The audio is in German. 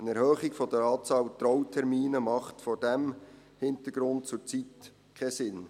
Eine Erhöhung der Anzahl Trautermine macht vor diesem Hintergrund zurzeit keinen Sinn.